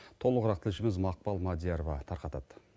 толығырақ тілшіміз мақпал мадиярова тарқатады